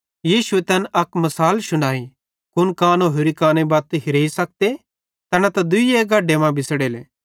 यीशुए तैन अक मिसाल शुनाई कुन कानो होरि काने बत्त हेरेई सखते तैना त दुइये गढे मां बिछ़ड़ेले